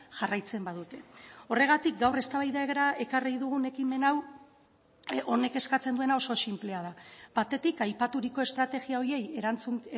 jarraitzen badute horregatik gaur eztabaidara ekarri dugun ekimen hau honek eskatzen duena oso sinplea da batetik aipaturiko estrategia horiei erantzun